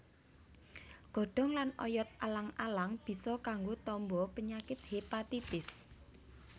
Godhong lan oyot alang alang bisa kanggo tamba penyakit hépatitis